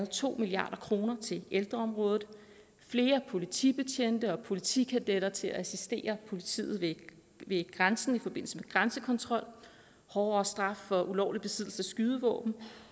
to milliard kroner til ældreområdet flere politibetjente og politikadetter til at assistere politiet ved grænsen i forbindelse med grænsekontrol hårdere straf for ulovlig besiddelse af skydevåben